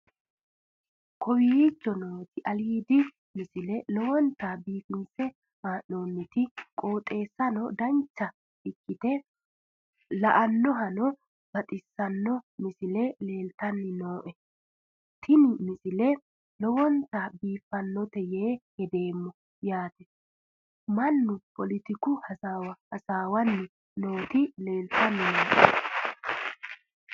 kowicho nooti aliidi misile lowonta biifinse haa'noonniti qooxeessano dancha ikkite la'annohano baxissanno misile leeltanni nooe ini misile lowonta biifffinnote yee hedeemmo yaate mannu poletiku hasaawa assanni nooti leeltanni nooe